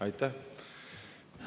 Aitäh!